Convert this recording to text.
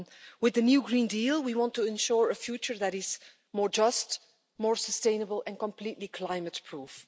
With the new Green Deal, we want to ensure a future that is more just, more sustainable and completely climate proof.